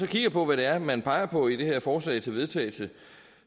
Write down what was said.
kigger på hvad det er man peger på i det her forslag til vedtagelse